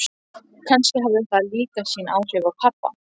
Kannski hafði það líka sín áhrif á pabba.